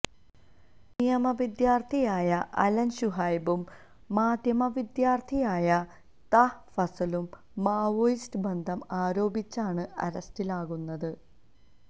നിയമവിദ്യാര്ത്ഥിയായ Alan ഷുഹൈബും മാധ്യമ വിദ്യാര്ത്ഥിയായ താഹ ഫസലും മാവോയിസ്റ്റ് ബന്ധം ആരോപിച്ചാണ് അറസ്റ്റിലാകുന്നത്